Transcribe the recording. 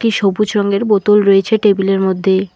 একটি সবুজ রঙের বোতল রয়েছে টেবিলের মধ্যে।